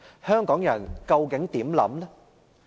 香港人究竟有何想法？